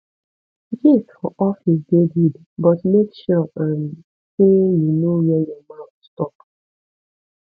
gist for office dey good but make sure um sey you know where your mouth stop